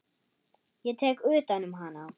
Ég tek utan um hana.